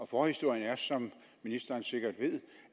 forhistorien er som ministeren sikkert ved